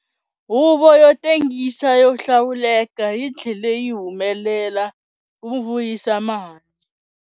Huvo yo Tengisa yo Hlawuleka yi tlhele yi humelela ku vuyisa mali.